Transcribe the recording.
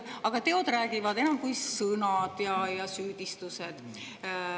Aga teod räägivad enam kui sõnad ja süüdistused.